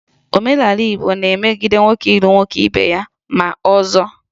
Omenala Igbo na-emegide nwoke ịlụ nwoke ibe ya ma ọzọ